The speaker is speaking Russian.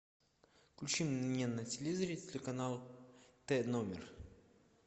включи мне на телевизоре телеканал т номер